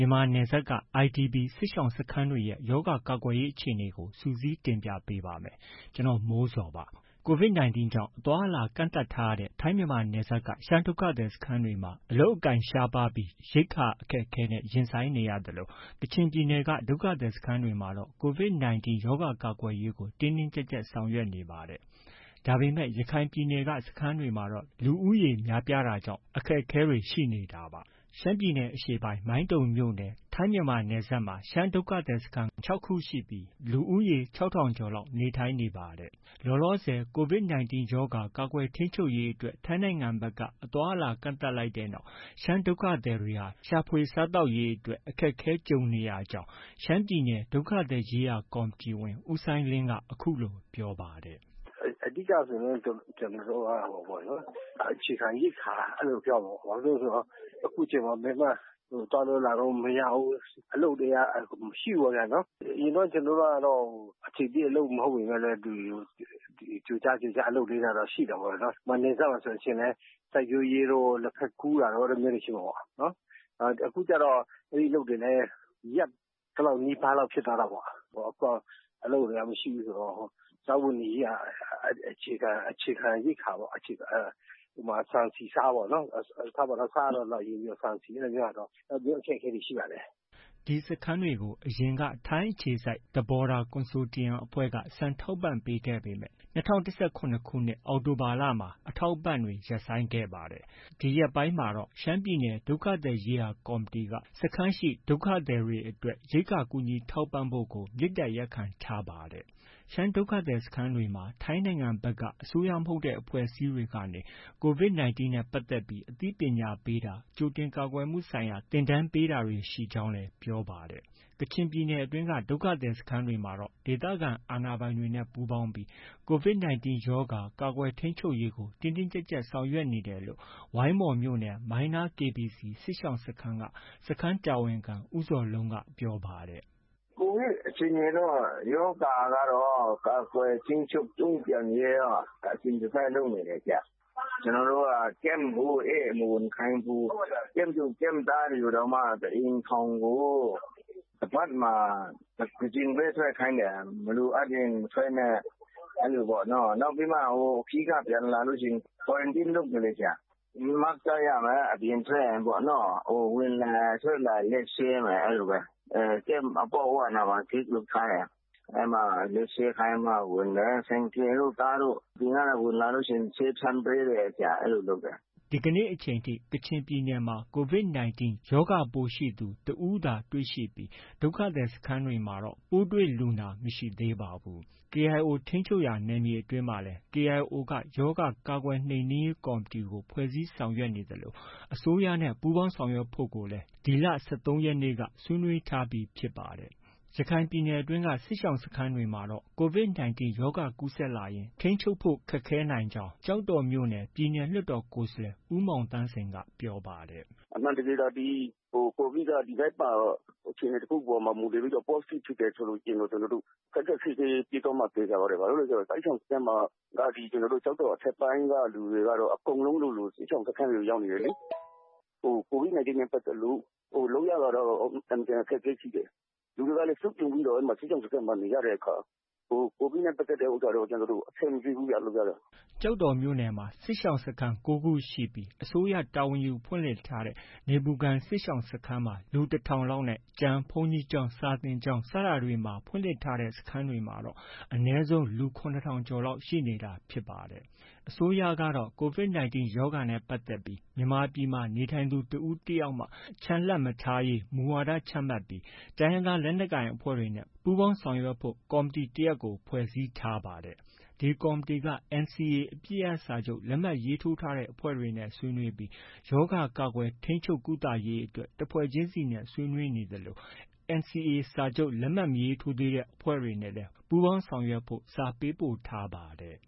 ြန်မာနယ်စပ်တွေက IDPs စစ်ရှောင်ဒုက္ခသည်စခန်းတွေရဲ့ ရောဂါကာကွယ်ရေးအခြေအနေတွေကို စုစည်းတင်ပြပေးပါမယ်။ ဒီအကြောင်း ဗွီအိုအေ မြန်မာပိုင်းသတင်းထောက် ကိုမိုးဇော်က တင်ဆက်ပေးပါမယ်။ COVID-19 ကြောင့် အသွားအလာ ကန့်သတ်ထားတာကြောင့် ထိုင်းမြန်မာနယ်စပ်က ရှမ်းဒုက္ခသည်စခန်းတွေမှာ အလုပ်အကိုင်ခက်ခဲပြီး ရိက္ခာအခက်အခဲနဲ့ ရင်ဆိုင်နေရသလို၊ ကချင်ပြည်နယ်က ဒုက္ခသည် စခန်းတွေမှာတော့ COVID-19 ရောဂါ ကာကွယ်ရေးကို တင်းတင်းကြပ်ကြပ် ဆောင်ရွက်နေပါတယ်။ ဒါပေမဲ့ ရခိုင်ပြည်နယ်က စခန်းတွေမှာ လူဦးရေများပြားတာကြောင့် အခက်အခဲတွေ ရှိနေပါတယ်။ ရှမ်းပြည်နယ်အရှေ့ပိုင်း မိုင်းတုံမြို့နယ် ထိုင်းမြန်မာနယ်စပ်က ရှမ်းဒုက္ခသည်စခန်း ၆ ခုရှိပြီး လူ ၆,၀၀၀ ကျော်လောက် နေထိုင်နေတာပါ။ လောလောဆယ် COVID-19 ရောဂါ ကာကွယ်ထိန်းချုပ်ရေးအတွက် ထိုင်းနိုင်ငံဘက်က အသွားအလာ ကန့်သတ်လိုက်တဲ့နောက် ရှမ်းဒုက္ခသည်တွေဟာ ရှာဖွေ စားသောက်ရေးအတွက် အခက်အခဲ ကြုံနေရကြောင်းရှမ်းပြည်နယ် ဒုက္ခသည်ရေးရာကော်မတီအဖွဲ့ဝင် ဦးစိုင်းလင်းက အခုလို ပြောပါတယ်။ “အဓိကဆိုရင် ကျနော်တို့က အခြေခံရိက္ခာ အဲဒါပဲ ပြောရမှာပေါ့။ ဘာလို့လဲဆိုရင် အခုချိန်မှာ ဘယ်မှ သွားလို့၊ လာလို့ မရဘူး။ အလုပ်တွေက မရှိဘူးပေါ့ဗျာနော်။ အရင်တုန်းက ကျနော်တို့ကတော့ အချိန်ပြည့်မဟုတ်ပေမဲ့လည်း ဒီ ကြိုကြား ကြိုကြား အလုပ်လေးတွေကတော့ ရှိတာပေါ့လေ နော်။ ဥပမာ နယ်စပ်မှာဆိုရင်လည်း စိုက်ပျိုးရေးတို့ လက်ဖက်ခူးတာတို့ အဲဒါမျိုးတွေ ရှိမှာပေါ့။ အခုကျတော့ အဲဒီအလုပ်တွေလည်း ရပ်သလောက် နီးပါးလောက်ဖြစ်သွားတာပေါ့။ အခုက အလုပ်တွေက မရှိဘူးဆိုတော့ စားဝတ်နေရေးက အခြေခံ ရိက္ခာပေါ့။ ဥပမာ ဆန်၊ ဆီ၊ ဆားပေါ့နော်။ ထားပါတော့ ဆားကတော့ ဒီလောက်အရေးမကြီးဘူး။ ဆန်၊ ဆီအဲလိုမျိုးကတော့ အဲလိုမျိုး အခက်အခဲတွေ ရှိပါတယ်။” ဒီစခန်းတွေကို အရင်က ထိုင်းအခြေစိုက် The Border Consortium အဖွဲ့က ဆန်ထောက်ပံခဲ့ပေမဲ့ ၂၀၁၇ ခု အောက်တိုဘာလမှာ ဒီအထောက်အပံ့ ရပ်ဆိုင်းခဲ့ပါတယ်။ ဒီရက်ပိုင်းမှာတော့ ရှမ်းပြည်နယ်ဒုက္ခသည်ရေးရာ ကော်မတီက စခန်းရှိ ဒုက္ခသည်တွေအတွက် ရိက္ခာ ကူညီထောက်ပံ့ဖို့ကို မေတ္တာရပ်ခံထားပါတယ်။ ရှမ်းဒုက္ခသည်စခန်းတွေမှာတော့ ထိုင်းနိုင်ငံဘက်က အစိုးရမဟုတ်တဲ့အဖွဲ့အစည်းတွေကနေ COVID-19 နဲ့ ပတ်သက်ပြီး အသိပညာပေးတာ၊ ကြိုတင်ကာကွယ်မှုဆိုင်ရာ သင်တန်းတွေပေးတာတွေ ရှိကြောင်း ပြောပါတယ်။ ကချင်ပြည်နယ်အတွင်းက ဒုက္ခသည်စခန်းတွေမှာတော့ ဒေသခံ အာဏာပိုင်တွေနဲ့ ပူးပေါင်းပြီး COVID-19 ရောဂါ ကာကွယ်ထိန်းချုပ်ရေးကို တင်းတင်းကြပ်ကြပ် ဆောင်ရွက်နေတယ်လို့ ဝိုင်းမော်မြို့နယ် မိုင်းနား KBC စစ်ရှောင်စခန်းတာဝန်ခံ ဦးဇော်လုံးကပြောပါတယ်။ "COVID အခြေအနေတော့ ရောဂါကာကွယ် ထိန်းချုပ် တုံ့ပြန်ရေးက အစဉ်တစိုက်လုပ်နေတယ်။ ကျနော်တို့ Camp ကို ဧည့်မဝင်ခိုင်းဘူး။ Camp သူ၊ Camp သားတွေကိုတောင်မှ တစ်အိမ်ထောင်ကို တစ်ပတ်မှာ တစ်ကြိမ်ပဲ ထွက်ခိုင်းတယ်။ မလိုအပ်ရင် မထွက်နဲ့၊ အဲလိုပေါ့နော်။ နောက်ပြီးမှ ခရီးက ပြန်လာလို့ရှိရင် Quarantine လုပ်တယ်လေ။ Mask တပ်ရမယ် အပြင်ထွက်ရင်။ ဝင်လာ၊ ထွက်လာရင် လက်ဆေးမယ် အဲလိုပဲ။ Camp အပေါက်ဝနားမှာ ဂိတ်လုပ်ထားတယ်။ အဲမှာ လက်ဆေးခိုင်းပြီးမှ ဝင်တယ်။ ဆိုင်ကယ်တို့၊ ကားတို့အပြင်ကနေဝင်လာရင် ဆေးဖျန်းပေးတယ်။ အဲလိုလုပ်တယ်။” ဒီကနေ့အချိန်ထိတော့ ကချင်ပြည်နယ်မှာ COVID-19 ရောဂါပိုးရှိသူ တစ်ဦးသာတွေ့ရှိပြီး ဒုက္ခသည်စခန်းတွေမှာတော့ ပိုးတွေ့လူနာ မရှိသေးပါဘူး။ KIO ထိန်းချုပ်နယ်မြေအတွင်းမှာလည်း KIO က ရောဂါကာကွယ်နှိပ်နင်းရေးကော်မတီကို ဖွဲ့စည်းဆောင်ရွက်နေသလို အစိုးရနဲ့ ပူးပေါင်းဆောင်ရွက်ဖို့လည်း ဒီလ ၁၃ ရက်နေ့က ဆွေးနွေးထားပြီး ဖြစ်ပါတယ်။ ရခိုင်ပြည်နယ်အတွင်းက စစ်ရှောင်စခန်းတွေမှာတော့ COVID-19 ရောဂါကူးစက်လာရင် ထိန်းချုပ်ဖု့ိခက်ခဲနိုင်ကြောင်း ကျောက်တော်မြို့နယ် ပြည်နယ်လွှတ်တော်ကိုယ်စားလှယ် ဦးမောင်သန်းစိန်က ပြောပါတယ်။ “အမှန်တကယ်သာဒီ COVID က ဒီဘက်မှာ အခြေအနေ တစ်ခုအပေါ်မှာ မူတည်ပြီး Postive ဖြစ်တယ်ဆိုရင် ခက်ခက်ခဲခဲဖြစ်သွားမှာ သေချာပါတယ်။ ဘာဖြစ်လို့လည်း ဆိုတော့ စစ်ရှောင်စခန်းမှာ ဒီ ကျောက်တော်အထက်ပိုင်းက လူတွေကတော့ အကုန်လုံးလိုလို စစ်ရှောင်စခန်းတွေကို ရောက်နေတယ်လေ။ COVID-19 နဲ့ ပတ်သက်လို့ လုပ်ရတာကတော့ အင်မတန် အခက်အခဲရှိတယ်။ လူတွေကလည်း စုပြုံပြီးတော့ စစ်ရှောင်စခန်းမှာ နေရတဲ့အခါ COVID နဲ့ ပတ်သက်လို့ အဆင်မပြေဘူးဗျ လုပ်ရတာ။” ကျောက်တော်မြို့မှာ စစ်ရှောင်စခန်း ၉ ခု ရှိပြီး အစိုးရ တာဝန်ယူဖွင့်လှစ်ထားတဲ နေပူခံ စစ်ဘေးရှောင်စခန်းမှာ လူ ၁,၀၀၀ လောက်နဲ့ ကျန်ဘုန်းကြီးကျောင်း၊ စာသင်ကျောင်းတွေမှာ ဖွင့်လှစ်ထားတဲ့စခန်းတွေမှာတော့ လူအနည်းဆုံး ၇,၀၀၀ ကျော်လောက်ရှိနေတာဖြစ်ပါတယ်။ အစိုးရကတော့ COVID-19 ရောဂါနဲ့ ပတ်သက်ပြီး မြန်မာပြည်မှာ နေထိုင်သူတစ်ဦးတစ်ယောက်မှ ချန်လှပ်မထားရေး မူဝါဒ ချမှတ်ပြီး တိုင်းရင်းသားလက်နက်ကိုင်အဖွဲ့တွေနဲ့ ပူးပေါင်းဆောင်ရွက်ဖို့ ကော်မတီတရပ်ကို ဖွဲ့စည်းဆောင်ရွက်နေပါတယ်။ ဒီကော်မတီက NCA အပစ်ရပ်စာချုပ် လက်မှတ်ရေးထိုးထားတဲ့အဖွဲ့တွေနဲ့ ဆွေးနွေးပြီး ရောဂါကာကွယ်ထိန်းချုပ်ကုသရေးအတွက် တစ်ဖွဲ့ချင်းနဲ့ ဆွေးနွေးနေသလို NCA လက်မှတ်မရေးထိုးသေးတဲ့အဖွဲ့တွေနဲ့လည်း ပူးပေါင်းဆောင်ရွက်ဖို့ စာပေးပို့ထားပါတယ်